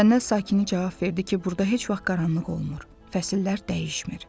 Cənnət sakini cavab verdi ki, burda heç vaxt qaranlıq olmur, fəsillər dəyişmir.